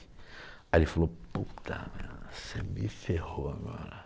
Aí ele falou, puta merda, você me ferrou agora.